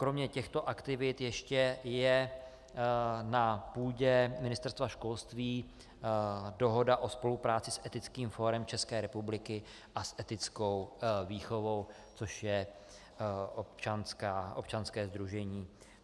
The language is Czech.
Kromě těchto aktivit ještě je na půdě ministerstva školství dohoda o spolupráci s Etickým fórem České republiky a s Etickou výchovou, což je občanské sdružení.